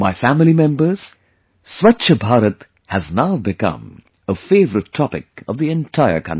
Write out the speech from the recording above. My family members, 'Swachh Bharat' has now become a favorite topic of the entire country